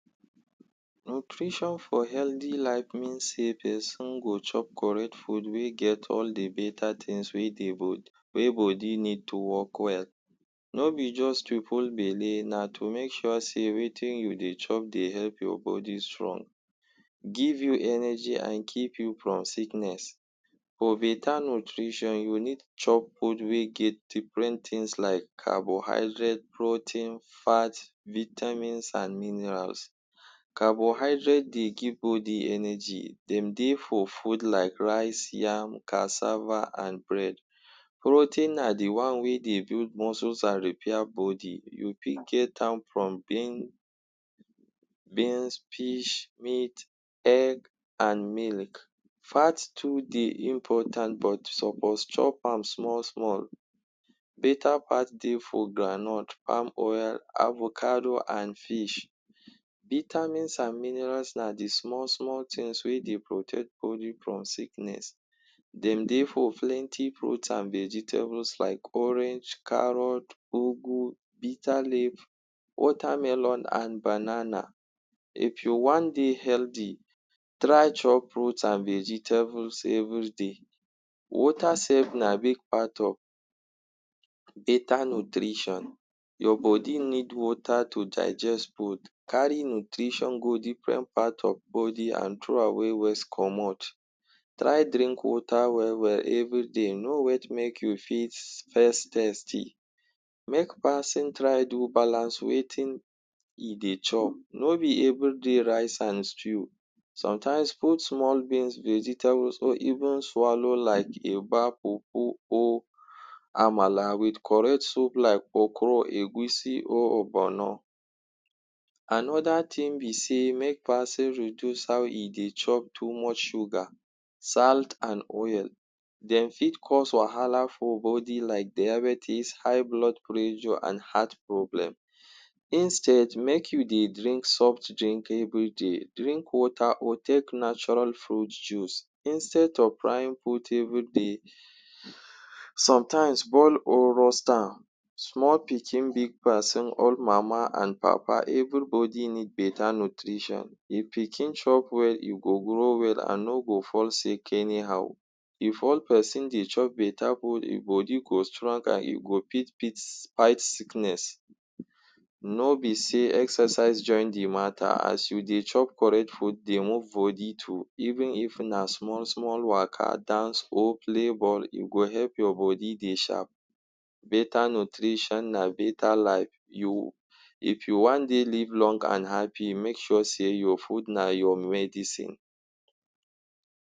Nutrition for healthy life mean sey peson go chop correct food wey get all the beta tins wey go wey body need to work well. No be juz to full belle, na to make sure sey wetin you dey chop dey help your body strong, give you energy, an keep you from sickness. For beta nutrition, you need chop food wey get different tins like carbohydrate, protein, fat, vitamins an minerals. Carbohydrate dey give body energy. Dem dey for food like rice, yam, cassava, an bread. Protein na the one wey dey build muscles an repair body. You fit get am from bean beans, fish, meat, egg, an millk. Fat too dey important but you suppose chop am small-small. Beta fat dey for groundnut, palm oil, avocado an fish. Vitamins an minerals na the small-small tins wey dey protect body from sickness. Dem dey for plenty fruit and vegetables like orange, carrot, ugu, bitterleaf, watermelon, and banana. If you wan dey healthy, try chop fruit an vegetables everyday. Water sef na big part of beta nutrition. Your body need water to digest food, carry nutrition go different part of body an throw away waste comot. Try drink water well well everyday. No wait make you fits first thirsty. Make pason try do balance wetin e dey chop. No be everyday rice an stew. Sometimes, put small beans, vegetables, or even swallow like eba, fufu, or amala with correct soup like okro, egusi or hogbonoh. Anoda tin be sey make peson reduce how e dey chop too much sugar, salt, an oil. Dem fit cause wahala for body like diabetes, high blood pressure, an heart problem. Instead make you dey drink softdrink everyday, drink water or take natoral fruit juice. Instead of frying everyday, sometimes, boil or roast am. Small pikin, big peson, old mama an papa, every body need beta nutrition. If pikin chop well, you go grow well an no go fall sick anyhow. If olh peson dey chop beta food, ein body go strong an you go fit fit fight sickness. no be sey exercise join the matter. As you dey chop correct food, dey move body too. Even if na small small waka, dance oh play ball, you go help your body dey sharp. Beta nutrition na beta life. You if you wan dey live long an happy, make sure sey your food na your medicine.